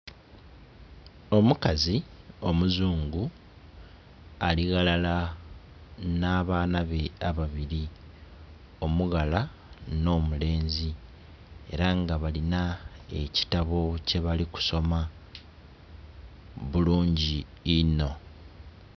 Omukazi omuzungu ali ghalala nh'abaana be ababili, omughala nho mulenzi era nga balinha ekitabo kyebali kusoma bulungi inho.